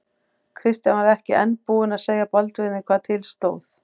Christian var enn ekki búinn að segja Baldvini hvað til stóð.